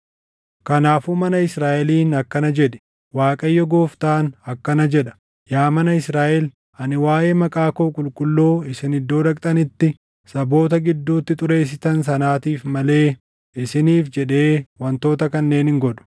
“Kanaafuu mana Israaʼeliin akkana jedhi; ‘ Waaqayyo Gooftaan akkana jedha: Yaa mana Israaʼel, ani waaʼee maqaa koo qulqulluu isin iddoo dhaqxanitti saboota gidduutti xureessitan sanaatiif malee isiniif jedhee wantoota kanneen hin godhu.